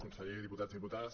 conseller diputats diputades